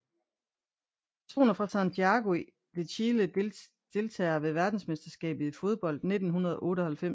Personer fra Santiago de Chile Deltagere ved verdensmesterskabet i fodbold 1998